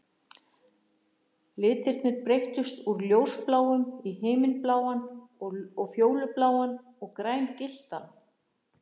Litirnir breyttust úr ljósbláum í himinbláan og fjólubláan og grængylltan.